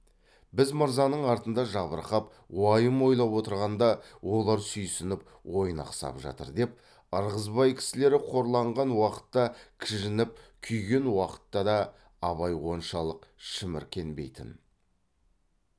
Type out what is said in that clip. біз мырзаның артында жабырқап уайым ойлап отырғанда олар сүйсініп ойнақ сап жатыр деп ырғызбай кісілері қорланған уақытта кіжініп күйген уақытта да абай оншалық шіміркенбейтін